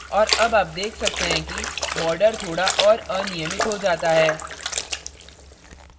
और अब आप देख सकते हैं कि border थोड़ा और अनियमित हो जाता है